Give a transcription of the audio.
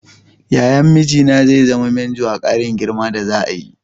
Yayan mijina zai zama manjo a ƙarin girman da za'a yi.